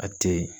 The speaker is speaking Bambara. A tɛ yen